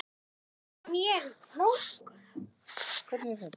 Um göngin liggja einnig æðar og taugar fram í hönd.